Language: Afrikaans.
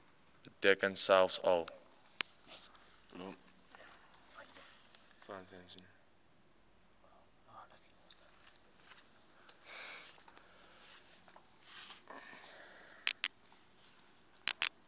beteken selfs al